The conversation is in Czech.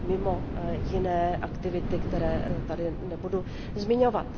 A to mimo jiné aktivity, které tady nebudu zmiňovat.